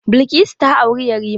Bilkisu ta auri yarima.